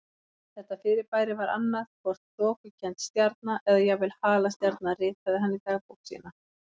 Þetta fyrirbæri var annað hvort þokukennd stjarna eða jafnvel halastjarna ritaði hann í dagbók sína.